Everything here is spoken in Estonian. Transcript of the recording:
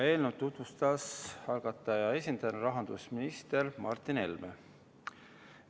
Eelnõu tutvustas algataja esindajana rahandusminister Martin Helme.